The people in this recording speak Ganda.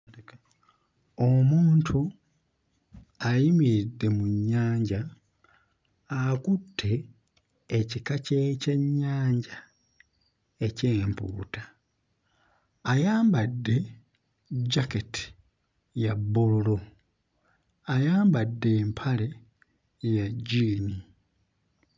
Omuntu ayimiridde mu nnyanja akutte ekika ky'ekyennyanja eky'empuuta. Ayambadde jaketi ya bbululu ayambadde empale ya jjiini.